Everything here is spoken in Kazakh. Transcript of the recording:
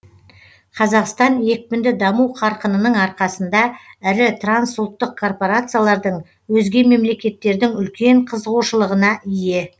қазақстан екпінді даму қарқынының арқасында ірі трансұлттық корпорациялардың өзге мемлекеттердің үлкен қызығушылығына ие